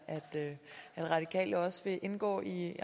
da at radikale også vil indgå i